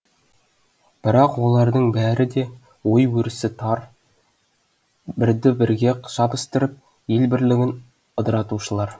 бірақ олардың бәрі де ой өрісі тар бірді бірге шабыстырып ел бірлігін ыдыратушылар